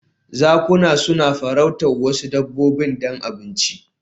Zakuna suna farautar wasu dabbobi don abinci